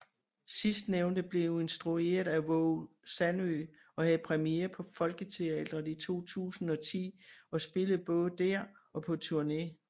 Sidstnævnte blev instrueret af Waage Sandø og havde premiere på Folketeatret i 2010 og spillede både der og på turné